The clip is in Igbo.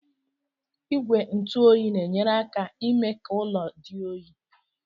Igwe ntụ oyi na-enyere aka imee ka ụlọ dị oyi.